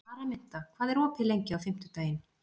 Araminta, hvað er opið lengi á fimmtudaginn?